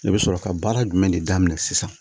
I bɛ sɔrɔ ka baara jumɛn de daminɛ sisan